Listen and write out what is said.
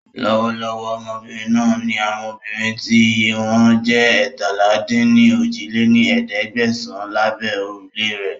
Lọ́wọ́lọ́wọ́ Ọmọbìnrin náà ńi àwọn obìnrin tí iye wọn jẹ́ eétalá-dín-ní-ojì lé ní ẹ̀ẹ́dẹ́gbẹ́sán lábẹ́ órùlé rẹ́